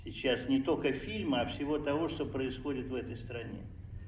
сейчас не только фильмы а в всего того что происходит в этой стране